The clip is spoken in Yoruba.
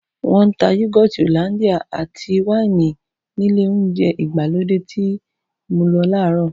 Wọ́n ń ta yúgọ́tì Hollandia àti wáìnì nílé oúnjẹ ìgbàlódé tí mo lọ láàárọ̀